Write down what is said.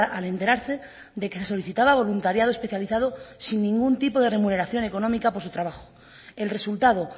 al enterarse de que se solicitaba voluntariado especializado sin ningún tipo de remuneración económica por su trabajo el resultado